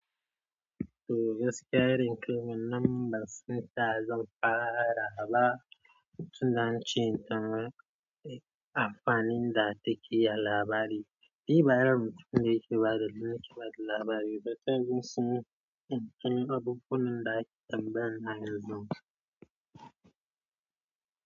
Toh gaskiya, rike wannan ban san taya zan fara ba. Tun da ance ita ma ai amfanin da takeyi a labari. Ni ba irin mutum ne da yake bada, yake bada labari. Baka jin su ne? In ka ga abubuwan da ake tambaya na yanzu.